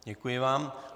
Děkuji vám.